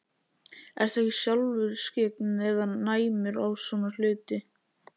Ertu ekki sjálfur skyggn eða næmur á svona hluti?